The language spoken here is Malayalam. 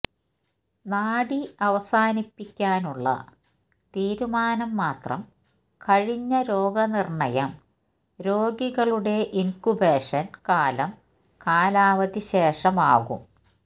നാഡീ അവസാനിപ്പിക്കാനുള്ള തീരുമാനം മാത്രം കഴിഞ്ഞ രോഗനിർണ്ണയം രോഗികളുടെ ഇൻകുബേഷൻ കാലം കാലാവധി ശേഷം ആകും